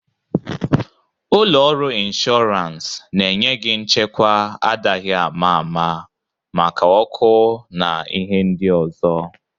Ụlọ ọrụ inshọrans na-enye gị nchekwa adaghi ama ama maka ọkụ na ihe ndị ọzọ.